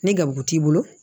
Ni garibu t'i bolo